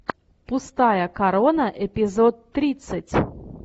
пустая корона эпизод тридцать